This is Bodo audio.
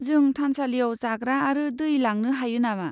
जों थानसालियाव जाग्रा आरो दै लांनो हायो नामा?